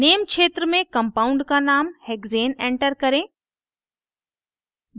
name क्षेत्र में compound का name हेक्सेन enter करें